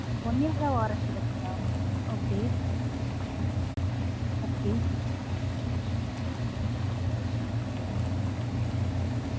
One yearwaraenty வருங்களா okay, okay